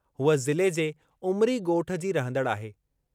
हूअ ज़िले जे उमरी ॻोठु जी रहंदड़ आहे।